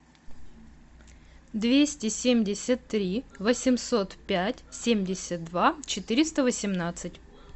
двести семьдесят три восемьсот пять семьдесят два четыреста восемнадцать